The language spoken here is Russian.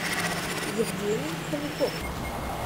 евгений хомяков